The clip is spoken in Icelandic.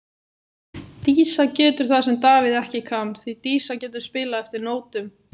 Dísa getur það sem að Davíð ekki kann, því Dísa getur spilað eftir nótum.